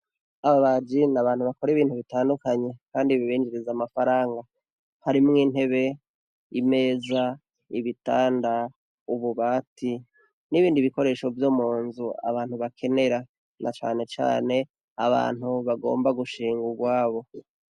Ababaji n’abantu bakora ibintu bitandukanye kandi bibinjiriza amafaranga, harimwo intebe, imeza, ibitanda, ububati n' ibindi bikoresho vyo munzu abantu bakenera na cane cane abantu bagomba gushinga ugwabo.